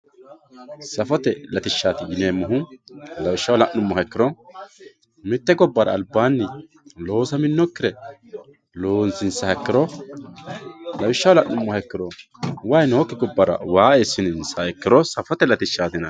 Saffote latishati yineemohu lawishshaho la`numoha ikiro mitte gobara albaani loosaminokire loosinsiha ikiro lawishaho la`numoha ikiro wayi nooki gobara waa esiniha ikiro safote latishaat